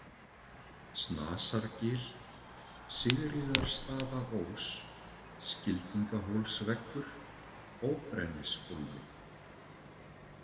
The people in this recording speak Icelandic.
Snasargil, Sigríðarstaðaós, Skildingahólsveggur, Óbrennishólmi